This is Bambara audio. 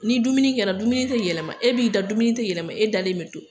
Ni dumuni kɛra dumuni te yɛlɛma e b'i da dumuni te yɛlɛma e dalen be don